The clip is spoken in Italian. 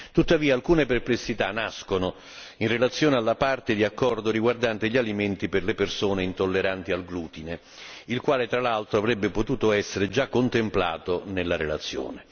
Tuttavia, alcune perplessità nascono in relazione alla parte di accordo riguardante gli alimenti per le persone intolleranti al glutine, il quale tra l'altro avrebbe potuto essere già contemplato nella relazione.